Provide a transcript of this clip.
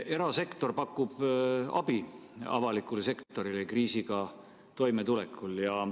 Erasektor pakub avalikule sektorile abi kriisiga toimetulekul.